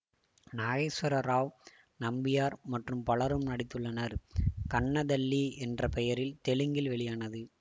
நாகேஸ்வர ராவ் நம்பியார் மற்றும் பலரும் நடித்துள்ளனர் கன்ன தல்லி என்ற பெயரில் தெலுங்கில் வெளியானது